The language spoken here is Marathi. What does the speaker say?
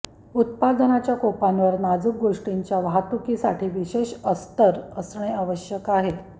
उत्पादनाच्या कोपांवर नाजूक गोष्टींच्या वाहतुकीसाठी विशेष अस्तर असणे आवश्यक आहे